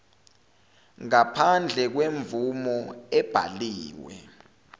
ngaphandle kwemvume ebhaliwe